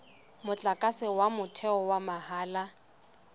motlakase wa motheo wa mahala